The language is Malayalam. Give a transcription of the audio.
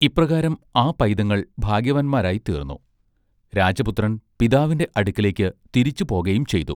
ഇപ്രകാരം ആ പൈതങ്ങൾ ഭാഗ്യവാന്മാരായി തീർന്നു രാജ പുത്രൻ പിതാവിന്റെ അടുക്കലേക്ക് തിരിച്ചു പോകയും ചെയ്തു.